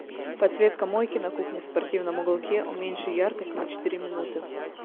подсветка мойки на кухне в спортивном уголке уменьши яркость на четыре минуты